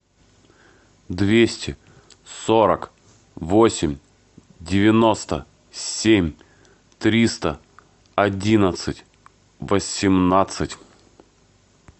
двести сорок восемь девяносто семь триста одиннадцать восемнадцать